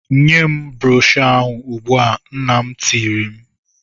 "Nye m broshọ ahụ ugbu a! " Nna m tirile m.